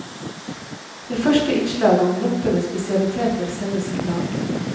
Det første innslaget, om loppenes spesialiteter, sendes i dag.